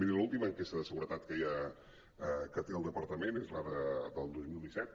miri l’última enquesta de segure·tat que hi ha que té el departament és la del dos mil disset